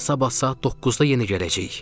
Sabah saat 9-da yenə gələcəyik.